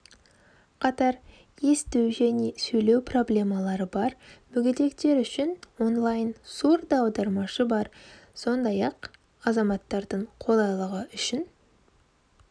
қатар есту және сөйлеу проблемалары бар мүгедектер үшін онлайн сурдоаудармашы бар сондай-ақ азаматтардың қолайлығы үшін